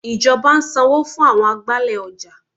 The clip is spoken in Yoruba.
Ìjọba ń sanwó fún àwọn agbálẹ̀ ọjà.